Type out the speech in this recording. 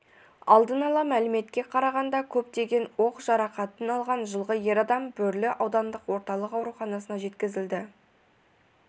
алдын ала мәліметке қарағанда көптеген оқ жарақатын алған жылғы ер адам бөрлі аудандық орталық ауруханасына жеткізілді